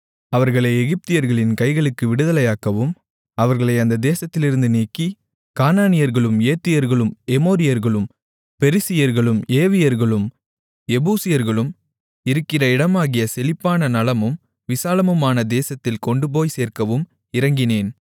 அவர்களை எகிப்தியர்களின் கைகளுக்கு விடுதலையாக்கவும் அவர்களை அந்த தேசத்திலிருந்து நீக்கி கானானியர்களும் ஏத்தியர்களும் எமோரியர்களும் பெரிசியர்களும் ஏவியர்களும் எபூசியர்களும் இருக்கிற இடமாகிய செழிப்பான நலமும் விசாலமுமான தேசத்தில் கொண்டுபோய்ச் சேர்க்கவும் இறங்கினேன்